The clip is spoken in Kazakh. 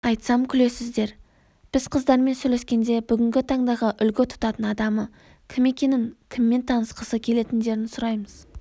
айтсам күлесіздер біз қыздармен сөйлескенде бүгінгі таңдағы үлгі тұтатын адамы кім екенін кіммен танысқысы келетіндерін сұраймыз